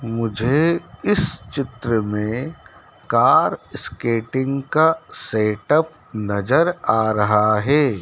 मुझे इस चित्र में कार स्केटिंग का सेट अप नजर आ रहा है।